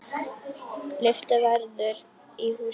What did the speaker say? Lyfta verður í húsinu.